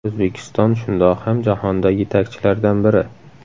O‘zbekiston shundoq ham jahonda yetakchilardan biri.